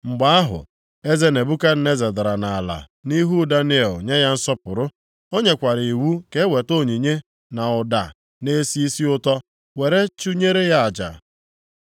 Mgbe ahụ, eze Nebukadneza dara nʼala nʼihu Daniel nye ya nsọpụrụ. O nyekwara iwu ka eweta onyinye na ụda na-esi isi ụtọ were chụnyere ya aja.